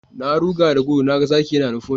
Na ruga da gudu na ga zaki yana nufo ni